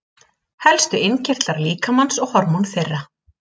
Helstu innkirtlar líkamans og hormón þeirra.